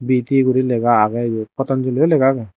biti guri lega iyot Patanjuli yo lega agey.